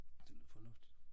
Det lyder fornuftigt